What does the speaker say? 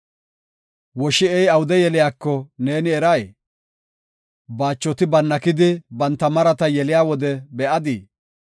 “Woshi7ey awude yeliyako neeni eray? Baachoti bannakidi banta marata yeliya wode be7adii?